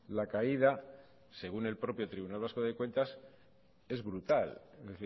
la caída según el propio tribunal vasco de cuentas es brutal es